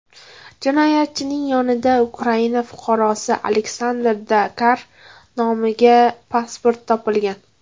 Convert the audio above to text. Jinoyatchining yonidan Ukraina fuqarosi Aleksandr Dakar nomiga pasport topilgan.